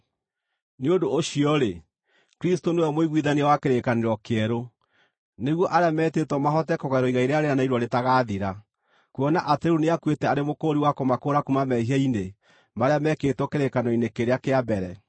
Nĩ ũndũ ũcio-rĩ, Kristũ nĩwe mũiguithania wa kĩrĩkanĩro kĩerũ, nĩguo arĩa metĩtwo mahote kũgaĩrwo igai rĩrĩa rĩĩranĩirwo rĩtagaathira, kuona atĩ rĩu nĩakuĩte arĩ mũkũũri wa kũmakũũra kuuma mehia-inĩ marĩa meekĩtwo kĩrĩkanĩro-inĩ kĩrĩa kĩa mbere.